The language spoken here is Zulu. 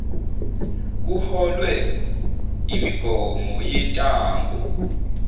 kuholwe yimigomo yentango